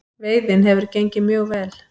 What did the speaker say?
Veiðin hefur gengið mjög vel